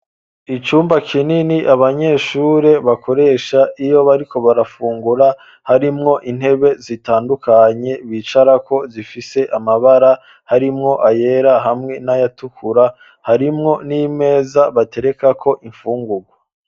Icumba kinini abanyeshure bakoresha iyo bariko barafungura, harimwo intebe zitandukanye bicarako zifise amabara harimwo ayera, hamwe n'ayatukura harimwo n'imeza baterekako imfungurwa.